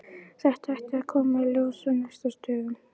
Þetta ætti að koma í ljós á næstu dögum.